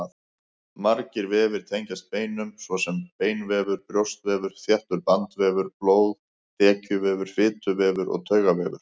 Margir vefir tengjast beinum, svo sem beinvefur, brjóskvefur, þéttur bandvefur, blóð, þekjuvefur, fituvefur og taugavefur.